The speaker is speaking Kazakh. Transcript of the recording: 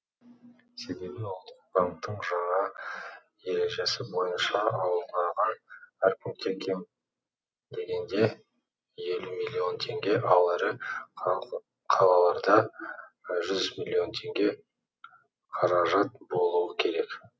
себебі ұлттық банктің жаңа ережесі бойынша ауылдағы әр пункте кем дегенде елу миллион теңге ал ірі қалаларда жүз миллион теңге қаражат болуы керек